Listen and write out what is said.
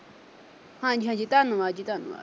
ਹਾਂਜੀ-ਹਾਂਜੀ ਧੰਨਵਾਦ ਜੀ ਧੰਨਵਾਦ।